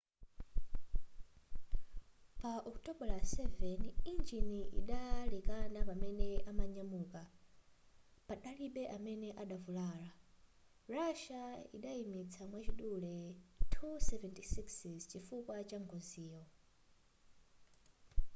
pa okutobala 7 injini idalekana pamene imanyamuka padalibe amene adavulala russia idayimitsa mwachidule il-76s chifukwa changoziyo